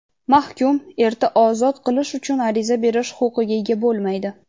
mahkum erta ozod qilish uchun ariza berish huquqiga ega bo‘lmaydi.